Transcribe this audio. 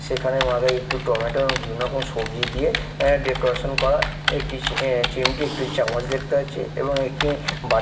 সেখানের মাতায় একটু টমেটো এবং বিভিন্ন রকম সবজি দিয়ে অ্যা ডেকোরেশন করা একটি সি অ্যা চিমটি একটি চামচ দেখতে পাচ্চি এবং একটি বাট--